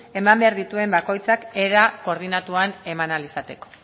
eman behar dituen bakoitzak era koordinatuan eman ahal izateko